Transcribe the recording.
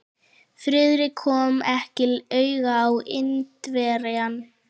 Friðrik kom ekki auga á Indverjann.